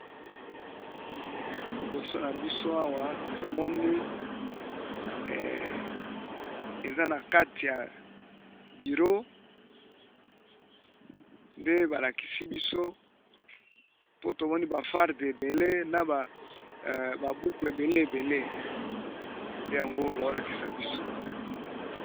Liboso na biso awa tomoni eza na kati ya bureau, nde ba lakisi biso mpo tomoni ba farde ebele na ba buku ebele ebele nde yango bao lakisa biso.